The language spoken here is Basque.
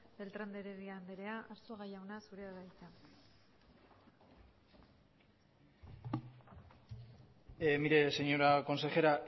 beltran de heredia anderea arzuaga jauna zurea da hitza mire señora consejera